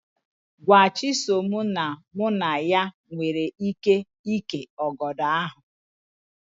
Gwa Chisom na mụ na ya nwere íké ìkè ọgọdọ ahụ